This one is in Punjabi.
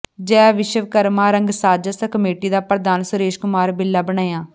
ਜੈ ਵਿਸ਼ਵਕਰਮਾਂ ਰੰਗਸਾਜ ਕਮੇਟੀ ਦਾ ਪ੍ਰਧਾਨ ਸੁਰੇਸ਼ ਕੁਮਾਰ ਬਿੱਲਾ ਬਣਿਆ